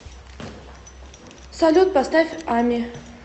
салют поставь ами